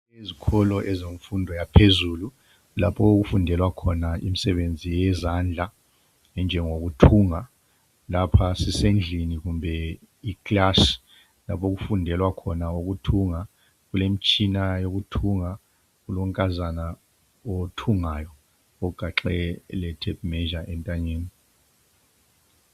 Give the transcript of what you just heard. Izikolo ezemfundo yaphezulu, lapho okufundelwa khona imisebenzi yezandla enjengoku thunga. Lapha sisendlini kumbe iclass lapho okufundelwa khona ukuthunga, kulemisthina yokuthunga, kulonkazana othungayo ogaxe le tape measure entanyeni.